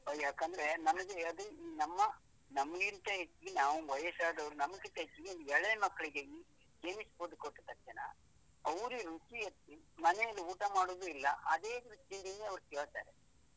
ಯಾಕಂದ್ರೆ ನಮ್ಗೆ ಅದೇ ನಮ್ಮ ನಮ್ಗಿಂತ ಹೆಚ್ಚು, ನಾವು ವಯಸ್ಸಾದವರು ನಮ್ಗಿಂತ ಹೆಚ್ಚು ಎಳೆ ಮಕ್ಳಿಗೆ chinese food ಕೊಟ್ಟ ತಕ್ಷಣ ಅವರಿಗೆ ರುಚಿ ಆಗಿ ಮನೆಯಲ್ಲಿ ಊಟ ಮಾಡುದು ಇಲ್ಲ ಅದೇ ರುಚಿಯನ್ನೇ ಅವರು ಕೇಳ್ತಾರೆ.